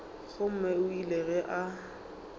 gomme o ile ge a